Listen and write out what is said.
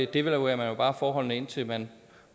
devaluerer man bare forholdene indtil man